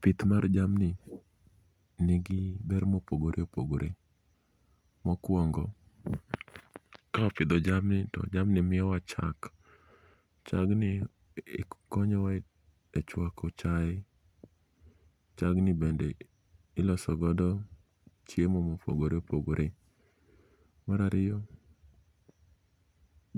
Pith mar jamni nigi ber mopogore opogore. Mokwongo, kawapidho jamni to jamni miyowa chak. Chagni konyowa e chwako chae, chagni bende iloso godo chiemo mopogore opogore. Marariyo,